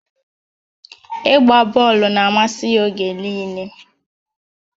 Ịgba bọọlụ na-amasị ya oge niile